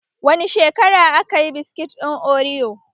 Wani shekara aka yi biskit ɗin oriyo?